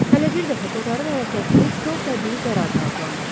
Hələ bir dəfə Kotarın hərəkətini kor təbii qərar da adlandırdı.